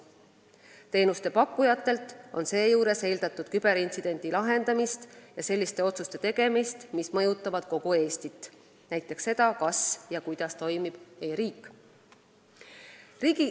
Teenusepakkujatelt on seejuures eeldatud küberintsidendi lahendamist ja selliste otsuste tegemist, mis mõjutavad kogu Eestit – näiteks seda, kas ja kuidas toimib e-riik.